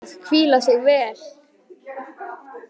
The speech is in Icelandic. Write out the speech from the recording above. Einnig er ráðlegt að hvíla sig vel.